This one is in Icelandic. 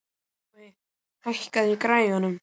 Finnbogi, hækkaðu í græjunum.